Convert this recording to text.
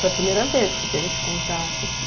Foi a primeira vez que você teve esse contato, assim...